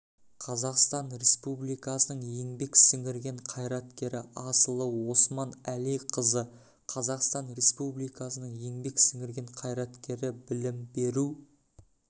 қазақстан республикасының еңбек сіңірген қайраткері асылы осман әлиқызы қазақстан республикасының еңбек сіңірген қайраткері білім беру